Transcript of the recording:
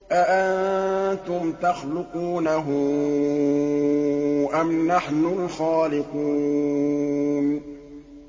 أَأَنتُمْ تَخْلُقُونَهُ أَمْ نَحْنُ الْخَالِقُونَ